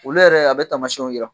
Wlu yɛrɛ , a bɛ tamasiɲnw jira.